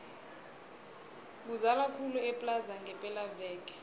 kuzala khulu eplaza ngepela veke